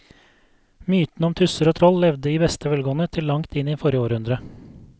Mytene om tusser og troll levde i beste velgående til langt inn i forrige århundre.